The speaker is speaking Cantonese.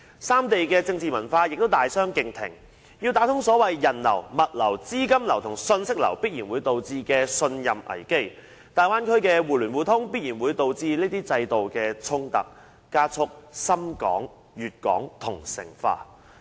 三地政治文化大相逕庭，要打通人流、物流、資金流、信息流必然會導致信心危機，大灣區的互聯互通必然會導致這些制度的衝突，加速深港、粵港同城化。